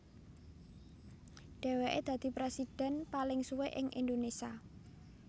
Dhèwèke dadi prèsidhèn paling suwé ing Indonésia